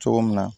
Cogo min na